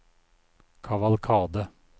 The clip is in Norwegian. kavalkade